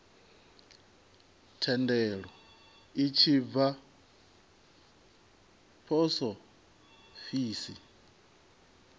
thendelo a tshi bva posofisi